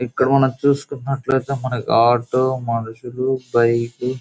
ఇక్కడ మనం చూసుకున్నట్లయితే ఆటో మనుషులు బైక్లులు .